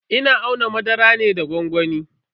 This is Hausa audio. Ina auna madara ne da gwangwami.